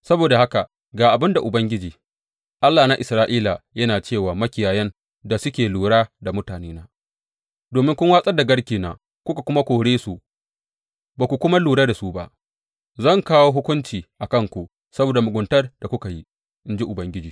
Saboda haka ga abin da Ubangiji, Allah na Isra’ila yana ce wa makiyayan da suke lura da mutanena, Domin kun watsar da garkena kuka kuma kore su ba ku kuma lura da su ba, zan kawo hukunci a kanku saboda muguntar da kuka yi, in ji Ubangiji.